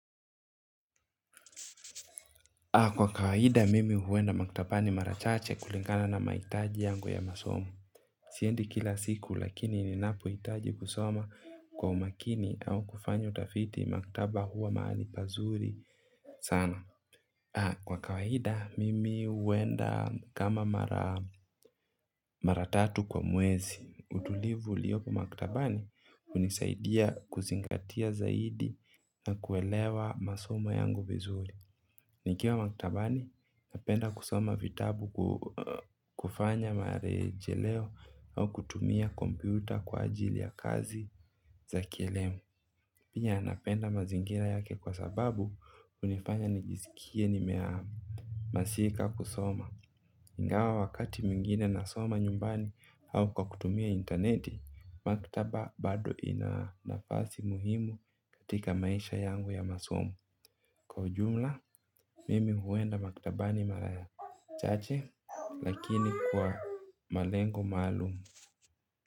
Kwa kawaida mimi huenda maktabani mara chache kulingana na mahitaji yangu ya masomo. Siendi kila siku lakini ninapoitaji kusoma kwa umakini au kufanya utafiti maktaba huwa mahali pazuri sana. Kwa kawaida mimi huenda kama mara tatu kwa mwezi. Utulivu uliopo maktabani hunisaidia kuzingatia zaidi na kuelewa masomo yangu vizuri. Nikiwa maktabani, napenda kusoma vitabu, kufanya marejeleo au kutumia kompyuta kwa ajili ya kazi za kielimu. Pia napenda mazingira yake kwa sababu hunifanya nijiskie nimeamasika kusoma, ingawa wakati mwingine nasoma nyumbani au kwa kutumia intaneti, maktaba bado ina nafasi muhimu katika maisha yangu ya masomo, kwa ujumla mimi huenda maktabani mara chache lakini kwa malengo maalum.